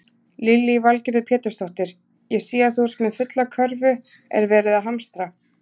Lillý Valgerður Pétursdóttir: Ég sé að þú ert með fulla körfu, er verið að hamstra?